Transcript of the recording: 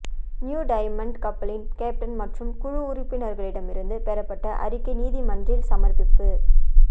new Diamond கப்பலின் captain மற்றும் குழு உறுப்பினர்களிடமிருந்து பெறப்பட்ட அறிக்கை நீதிமன்றில் சமர்ப்பிப்பு